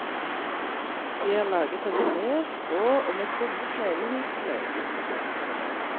De er laget av tre, strå og med tomme sneglehus til øyne.